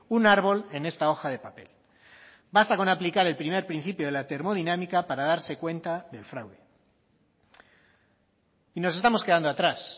un árbol en esta hoja de papel basta con aplicar el primer principio de la termodinámica para darse cuenta del fraude y nos estamos quedando atrás